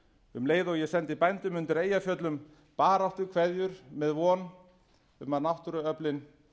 um leið og ég sendi bændum undir eyjafjöllum baráttukveðjur með von um að náttúruöflin